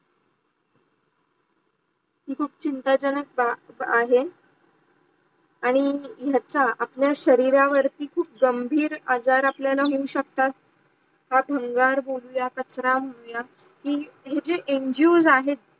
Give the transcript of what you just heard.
हे खूप चिंता जनक बात आहे. आणी जाचा आपल्या शरीरावर्ती खूप गंभीर अझर आपल्याला मिडू शकतात हा भानगर बोलूया कचरा बोलूया हे जे ngos आहे